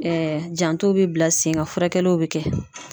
janto be bila sen kan, furakɛliw be kɛ.